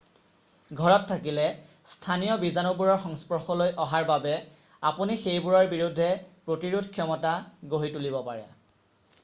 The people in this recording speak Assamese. ঘৰত থাকিলে স্থানীয় বীজাণুবোৰৰ সংস্পৰ্শলৈ অহাৰ বাবে আপুনি সেইবোৰৰ বিৰুদ্ধে প্ৰতিৰোধ ক্ষমতা গঢ়ি তুলিব পাৰে